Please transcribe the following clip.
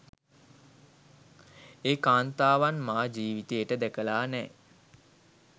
ඒ කාන්තාවන් මා ජීවිතේට දැකලා නෑ